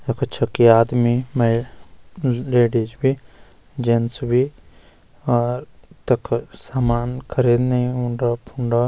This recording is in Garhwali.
या पे छके आदमी मे लेडीज भी जेंट्स भी और तख सामान खरीदने उंड-फण्ड।